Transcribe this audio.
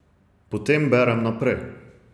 Potem berem naprej.